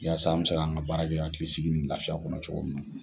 Yasa an bɛ se k'an ka baarakɛ hakili sigi nin lafiya kɔnɔ cogo min na.